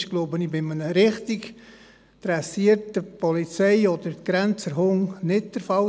Bei einem richtig dressierten Hund der Polizei oder Grenzwacht passiert das sicher nicht.